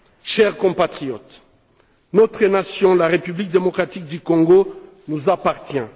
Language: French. Chers compatriotes, notre nation, la République démocratique du Congo, nous appartient.